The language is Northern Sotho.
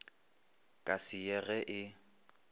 ka se ye ge e